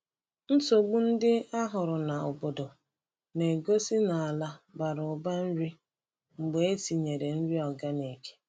Nsogbu ndị a hụrụ n’obodo na-egosi na ala bara ụba nri mgbe e tinyere nri organic.